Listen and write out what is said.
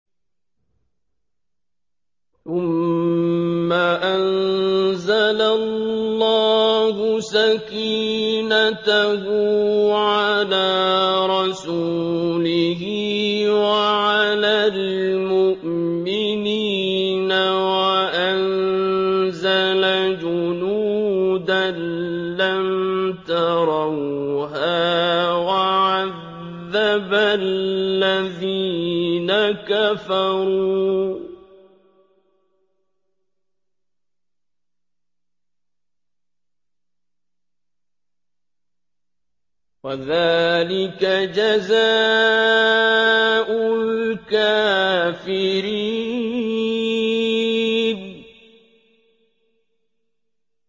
ثُمَّ أَنزَلَ اللَّهُ سَكِينَتَهُ عَلَىٰ رَسُولِهِ وَعَلَى الْمُؤْمِنِينَ وَأَنزَلَ جُنُودًا لَّمْ تَرَوْهَا وَعَذَّبَ الَّذِينَ كَفَرُوا ۚ وَذَٰلِكَ جَزَاءُ الْكَافِرِينَ